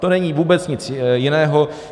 To není vůbec nic jiného.